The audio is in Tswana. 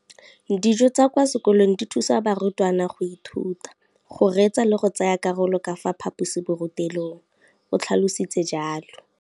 Dijo tsa kwa sekolong dithusa barutwana go ithuta, go reetsa le go tsaya karolo ka fa phaposiborutelong, o tlhalositse jalo.